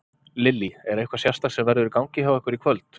Lillý: Er eitthvað sérstakt sem verður í gangi hjá ykkur í kvöld?